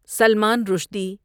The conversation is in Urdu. سلمان رشدی